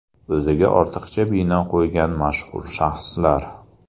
O‘ziga ortiqcha bino qo‘ygan mashhur shaxslar.